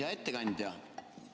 Hea ettekandja!